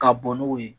Ka bɔn n'o ye